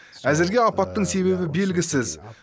әзірге апаттың себебі белгісіз